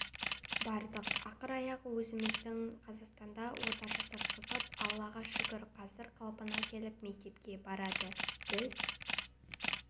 бардық ақыр аяғы өзіміздің қазақстанда ота жасатқызып аллаға шүкір қазір қалпына келіп мектепке барды біз